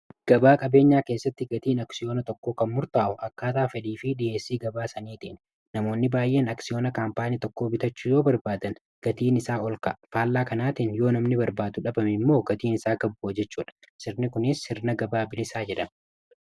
gabaa qabeenyaa keessatti gatiin aksiyoona tokkoo kan murtaa'u akkaataa flh fi dhs gabaa saniitiin namoonni baay'een aksiyoona kaampaanii tokkoo bitachu yoo barbaadan gatiin isaa ol ka'a faallaa kanaatiin yoo namni barbaadu dhabame immoo gatiin isaa kabboo jechuu dha sirni kunis sirna gabaa bilisaa jedham